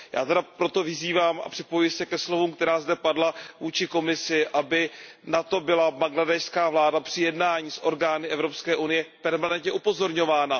Já tedy proto vyzývám a připojuji se ke slovům, která zde padla vůči Komisi, aby na to byla bangladéšská vláda při jednáních s orgány Evropské unie permanentně upozorňována.